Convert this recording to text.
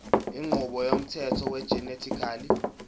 inqubo yomthetho wegenetically